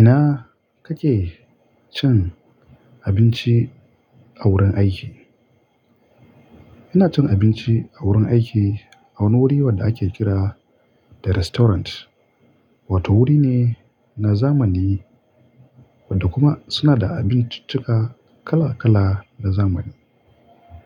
Ina kake cin abinci a wurin aiki? Ina cin abinci a wurin aiki, a wani wuri wadda ake kira "The Restaurant", wato wuri ne na zamani wadda kuma suna da abinciccika kala-kala na zamani.